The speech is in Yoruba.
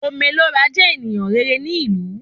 Ome Lo Ra jẹ ènìyàn rere ní ìlú